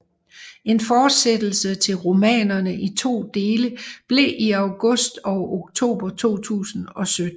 En fortsættelse til romanerne i to dele blev i august og oktober 2017